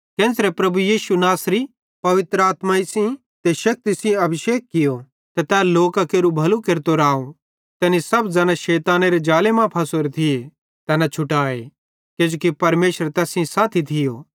केन्च़रे प्रभु यीशु नासरी पवित्र आत्माई सेइं ते शक्ति सेइं अभिषेक कियूं ते तै लोकां केरू भलू केरतो राव तैनी सब ज़ैना शैतानेरे ज़ाले मां फासोरे थिये तैना छुटाए किजोकि परमेशर तैस सेइं साथी थियो